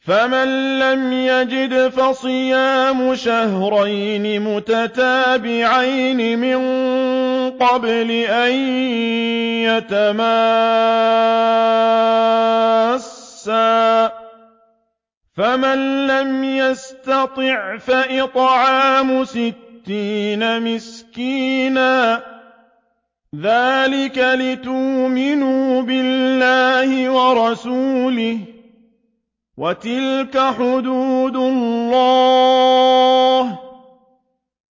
فَمَن لَّمْ يَجِدْ فَصِيَامُ شَهْرَيْنِ مُتَتَابِعَيْنِ مِن قَبْلِ أَن يَتَمَاسَّا ۖ فَمَن لَّمْ يَسْتَطِعْ فَإِطْعَامُ سِتِّينَ مِسْكِينًا ۚ ذَٰلِكَ لِتُؤْمِنُوا بِاللَّهِ وَرَسُولِهِ ۚ وَتِلْكَ حُدُودُ اللَّهِ ۗ